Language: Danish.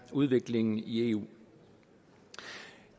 udviklingen i eu